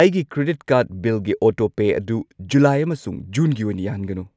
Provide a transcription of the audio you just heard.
ꯑꯩꯒꯤ credit card ꯕꯤꯜꯒꯤ ꯑꯣꯇꯣꯄꯦ ꯑꯗꯨ ꯖꯨꯂꯥꯏ ꯑꯃꯁꯨꯡ ꯖꯨꯟꯒꯤ ꯑꯣꯏꯅ ꯌꯥꯍꯟꯒꯅꯨ꯫